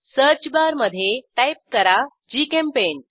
search bar मधे type करा GChemPaint